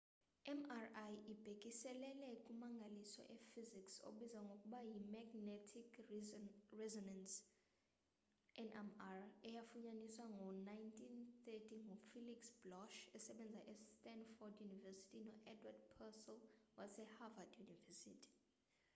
mri ibhekiselele kummangaliso ee -hysics obizwa ngokuba yi-magnetic resonance nmr eyafunyaniswa ngo-1930 ngufelix bloch esebenza e stanford university no-edward purcell waseharvad university